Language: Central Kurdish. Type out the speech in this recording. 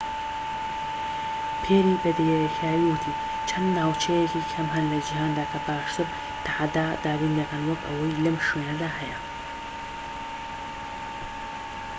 پێری بە دیاریکراوی وتی چەند ناوچەیەکی کەم هەن لە جیهاندا کە باشتر تەحەدا دابین دەکەن وەك ئەوەی لەم شوێنەدا هەیە